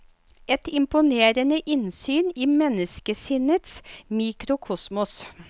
Et imponerende innsyn i menneskesinnets mikrokosmos.